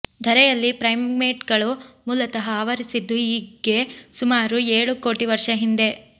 ಧರೆಯಲ್ಲಿ ಪ್ರೈಮೇಟ್ಗಳು ಮೂಲತಃ ಅವತರಿಸಿದ್ದು ಈಗ್ಗೆ ಸುಮಾರು ಏಳು ಕೋಟಿ ವರ್ಷ ಹಿಂದೆ